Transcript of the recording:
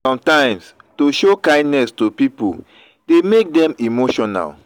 sometimes to show kindness to pipo de make dem emotional